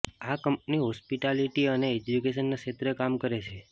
આ company hospitality અને એજ્યુકેશનના ક્ષેત્રે કામ કરે છે